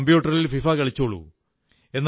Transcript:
കമ്പ്യൂട്ടറിൽ ഫിഫ കളിച്ചോളൂ